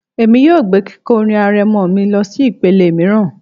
Èmi yóò gbé kíkọ orin arẹmọ mi lọsí ìpele mìíràn